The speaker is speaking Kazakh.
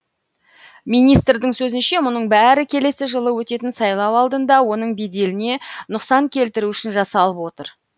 министрдің сөзінше мұның бәрі келесі жылы өтетін сайлау алдында оның беделіне нұқсан келтіру үшін жасалып отыр